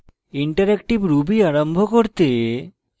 interactive ruby আরম্ভ করতে